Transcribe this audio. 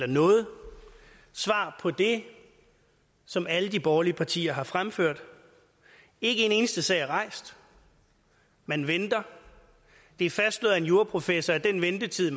noget svar på det som alle de borgerlige partier har fremført ikke en eneste sag er rejst man venter det er fastslået af en juraprofessor at den ventetid